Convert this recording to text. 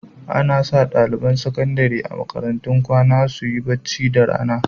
Ana sa ɗaliban sakandare a makarantun kwana su yi bacci da rana.